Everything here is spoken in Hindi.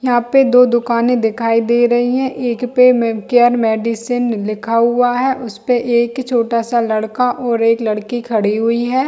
यहाँ पे दो दुकाने दिखाई दे रही है एक पे केयर मेडिसिन लिखा हुआ है उस पे एक छोटा सा लड़का और एक लड़की खड़ी हुई है।